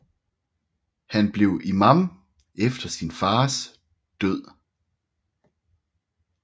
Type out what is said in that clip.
Han blev imām efter sin fars død